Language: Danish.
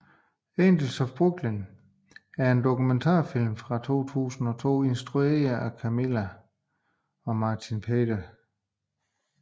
Angels of Brooklyn er en dokumentarfilm fra 2002 instrueret af Camilla Hjelm Knudsen og Martin Pieter Zandvliet